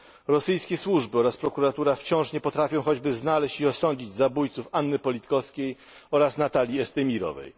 Rosyjskie służby oraz prokuratura wciąż nie potrafią choćby znaleźć i osądzić zabójców Anny Politkowskiej oraz Natalii Estimirowej.